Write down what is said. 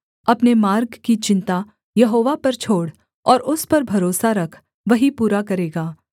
अपने मार्ग की चिन्ता यहोवा पर छोड़ और उस पर भरोसा रख वही पूरा करेगा